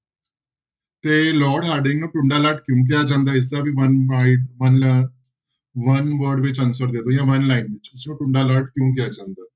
ਤੇ lord Harding ਨੂੰ ਟੁੰਡਾ ਲਾਟ ਕਿਉਂ ਕਿਹਾ ਜਾਂਦਾ ਇਸਦਾ ਵੀ one word ਵਿੱਚ answer ਦੇ ਦਓ ਜਾਂ one line ਵਿੱਚ ਇਸਨੂੰ ਟੁੰਡਾ ਲਾਟ ਕਿਉਂ ਕਿਹਾ ਜਾਂਦਾ?